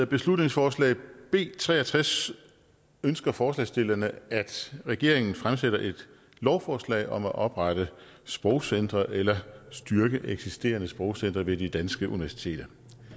beslutningsforslag b tre og tres ønsker forslagsstillerne at regeringen fremsætter et lovforslag om at oprette sprogcentre eller styrke eksisterende sprogcentre ved de danske universiteter